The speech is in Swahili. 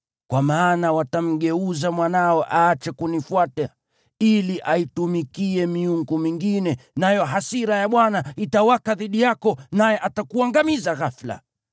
Kwa maana watamgeuza mwanao aache kunifuata, ili aitumikia miungu mingine, nayo hasira ya Bwana itawaka dhidi yako, naye atakuangamiza ghafula.